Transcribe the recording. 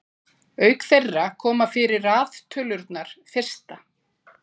auk þeirra koma fyrir raðtölurnar fyrsta